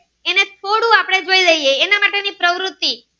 કૃતિ.